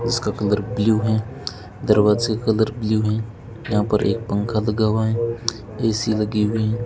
इसका colour blue है दरवाजे का कलर ब्ल्यू है यहां पर एक पंखा लगा हुआ है ए_सी लगी हुई है।